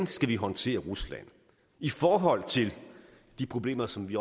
skal håndtere rusland i forhold til de problemer som vi